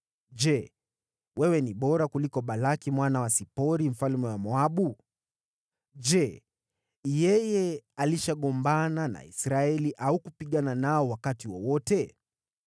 Je, wewe ni bora kuliko Balaki mwana wa Sipori, mfalme wa Moabu? Je, yeye alishagombana na Israeli au kupigana nao wakati wowote?